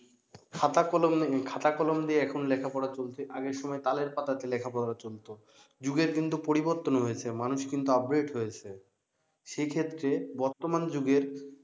খাতা কলম উম খাতা কলম দিয়ে এখন লেখা পড়া চলছে আগের সময় তালের পাতাতে লেখাপড়া চলত যুগের কিন্তু পরিবর্তন হয়েছে অনেক মানুষ কিন্তু upgrade হয়েছে সেক্ষেত্রে বর্তমান যুগের